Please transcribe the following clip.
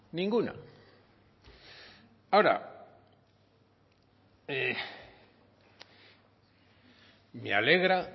ninguna ahora me alegra